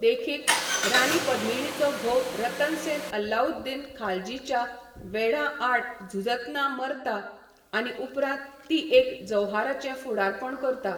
देखीक, रानी पद्मिणीचो घोव रतन सेन अलाउद्दीन खालजीच्या वेढां आड झुजतना मरता, आनी उपरांत ती एक जौहराचें फुडारपण करता.